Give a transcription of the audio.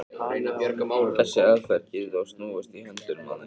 þessi aðferð getur þó snúist í höndunum á þeim